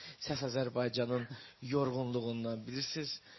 Səs Azərbaycanın yorğunluğundan, bilirsiz.